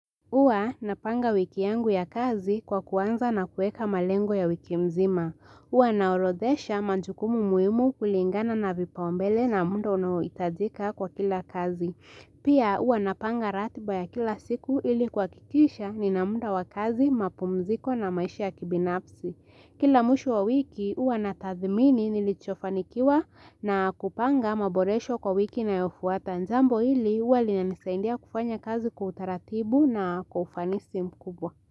Huwa napanga wiki yangu ya kazi kwa kuanza na kueka malengo ya wiki mzima. Huwa naorodhesha majukumu muhimu kulingana na vipao mbele na muda unaohitajika kwa kila kazi. Pia huwa napanga ratiba ya kila siku ili kuhakikisha nina muda wa kazi mapumziko na maisha ya kibinafsi. Kila mwisho wa wiki uwa natathimini nilichofanikiwa na kupanga maboresho kwa wiki inayofuata jambo hili huwa linanisaidia kufanya kazi kwa utaratibu na kwa ufanisi mkubwa.